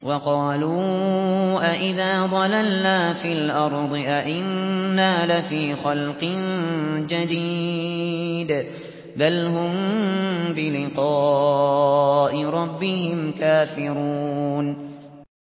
وَقَالُوا أَإِذَا ضَلَلْنَا فِي الْأَرْضِ أَإِنَّا لَفِي خَلْقٍ جَدِيدٍ ۚ بَلْ هُم بِلِقَاءِ رَبِّهِمْ كَافِرُونَ